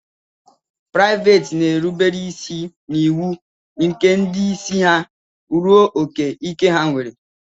Praịveet na-erube isi n'iwu nke ndị isi ha ruo ókè ike ha nwere.